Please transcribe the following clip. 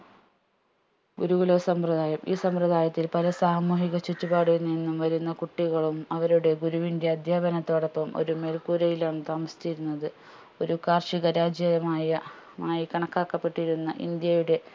ഗുരുകുല സമ്പ്രദായം ഈ സമ്പ്രദായത്തിൽ പല സാമൂഹിക ചുറ്റുപാടുകളിൽ നിന്ന് വരുന്ന കുട്ടികളും അവരുടെ ഗുരുവിന്റെ അധ്യാപനത്തോടൊപ്പോം ഒരു മേല്കൂരയിലാണ് താമസിച്ചിരുന്നത് ഒരു കാർഷിക രാജ്യമായ മായി കണക്കാക്കപ്പെട്ടിരുന്ന ഇന്ത്യയുടെ